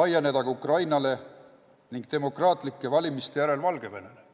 laieneda ka Ukrainale ning demokraatlike valimiste järel Valgevenele?